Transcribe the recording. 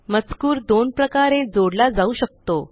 मजकूर दोन प्रकारे जोडला जाऊ शकतो